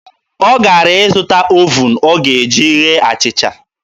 Ọ gara ịzụta ovuun ọ ga-eji ghee achịcha.